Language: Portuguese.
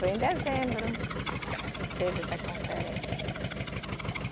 Foi em dezembro que teve essa conferência.